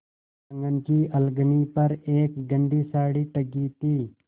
आँगन की अलगनी पर एक गंदी साड़ी टंगी थी